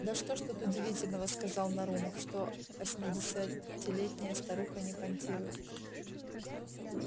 да что ж тут удивительного сказал нарумов что восьмидесятилетняя старуха не понтирует